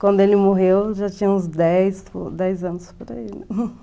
Quando ele morreu, eu já tinha uns dez dez anos por aí,